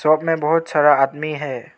Pub में बहोत सारा आदमी है।